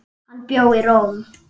Hann bjó í Róm.